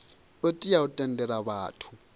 u tea u tendela vhathu